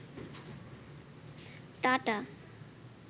tata